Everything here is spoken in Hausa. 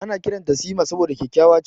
Ana kiranta Sima saboda kyakkyawa.